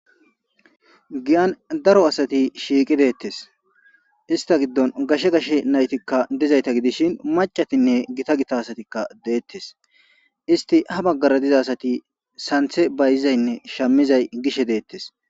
Giyan daro asati shiiqi deettes ista giddon gashe gashe naytikka dizayta gidishin macatinne gita gita asatikka deettes isti ha baggara diza asati santhe bayizaynne shammizay gishe deettes